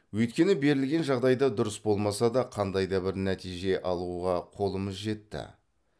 өйткені берілген жағдайда дұрыс болмаса да қандай да бір нәтиже алуға қолымыз жетті